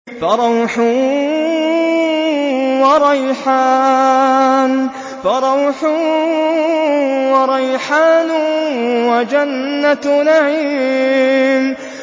فَرَوْحٌ وَرَيْحَانٌ وَجَنَّتُ نَعِيمٍ